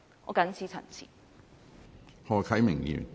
我謹此陳辭。